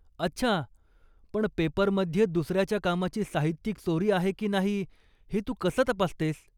अच्छा! पण पेपरमध्ये दुसऱ्याच्या कामाची साहित्यिक चोरी आहे की नाही हे तू कसं तपासतेस?